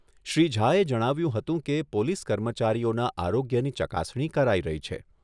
શ્રી ઝાએ જણાવ્યુંં હતું કે, પોલીસ કર્મચારીઓના આરોગ્યની ચકાસણી કરાઈ રહી છે.